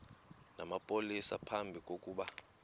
namapolisa phambi kokuba